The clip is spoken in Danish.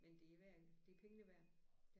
Men det værd det er pengene værd det er det